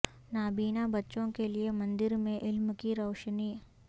نابینا بچوں کے لیے مندر میں علم کی روشنی